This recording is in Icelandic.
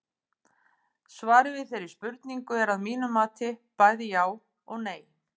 Svarið við þeirri spurningu er að mínu mati bæði já og nei.